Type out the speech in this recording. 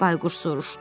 Bayquş soruşdu.